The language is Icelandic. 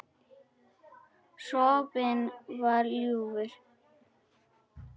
Sopinn var ljúfur.